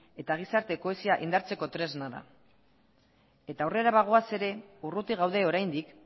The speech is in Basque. eta gizarte kohesioa indartzeko tresna da eta aurrera bagoaz ere urruti gaude oraindik